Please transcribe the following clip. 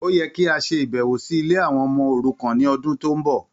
Ó yẹ kí a ṣe ìbẹ̀wò sí ilé àwọn ọmọ òrukan ní ọdún tó ń bọ̀.